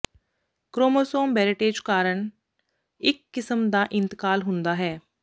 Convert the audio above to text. chromosome breakage ਕਾਰਨ ਇਕ ਕਿਸਮ ਦਾ ਇੰਤਕਾਲ ਹੁੰਦਾ ਹੈ